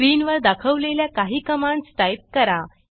स्क्रीनवर दाखवलेल्या काही कमांडस टाईप करा